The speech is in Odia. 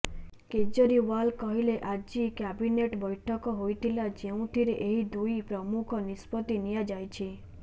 କେଜରିୱାଲ କହିଲେ ଆଜି କ୍ୟାବିନେଟ ବୈଠକ ହୋଇଥିଲା ଯେଉଁଥିରେ ଏହି ଦୁଇ ପ୍ରମୂଖ ନିଷ୍ପତ୍ତି ନିଆଯାଇଛି